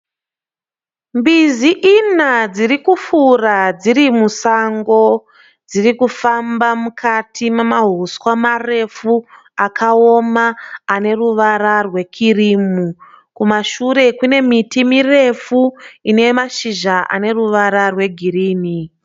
Mbizi ina dziri kufura dziri musango. Dziri kufamba mukati mamahuswa marefu akaoma ane ruvara rwekirimu. Kumashure kune miti mirefu ine mashizha aneruvara rwegirinhi.